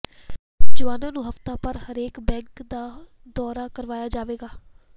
ਜਵਾਨਾਂ ਨੂੰ ਹਫਤਾਭਰ ਹਰੇਕ ਬੈਰਕ ਦਾ ਦੌਰਾ ਕਰਵਾਇਆ ਜਾਵੇਗਾ